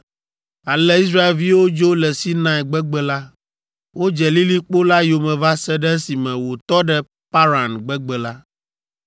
Ale Israelviwo dzo le Sinai gbegbe la. Wodze lilikpo la yome va se ɖe esime wòtɔ ɖe Paran gbegbe la.